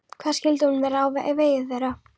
Hvað skyldi nú verða á vegi þeirra?